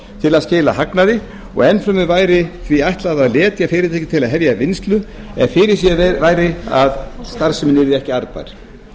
til að skila hagnaði og enn fremur væri því ætlað að letja fyrirtæki til að hefja vinnslu ef fyrirséð væri að starfsemin yrði ekki arðbær